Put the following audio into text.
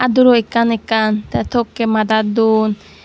aduro ekkan ekkan te tokke madat don.